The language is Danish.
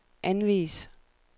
anvis